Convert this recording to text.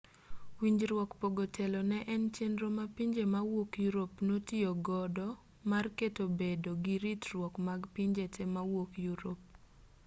winjruok pogo telo ne en chenro ma pinje mawuok yurop notiyogodo mar keto bedo giritruok mag pinje te mawuok yurop